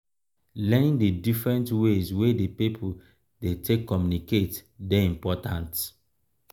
learning di different ways wey di people dey take communicate dey important